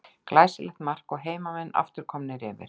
Glæsilegt mark og heimamenn aftur komnir yfir.